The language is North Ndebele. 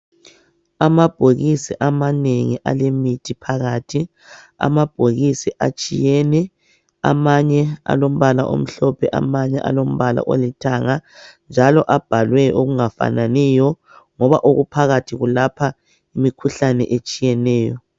Amabhokisi amanengi alemithi phakathi. Amabhokisi atshiyene. Amanye alombala omhlophe, amanyenye alombala olithanga, njalo abalwe okungafananiyo ngoba okuphakathi kulapha imikhuhlane etshiyeneyo.